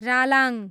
Ralang